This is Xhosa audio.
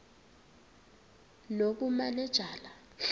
nobumanejala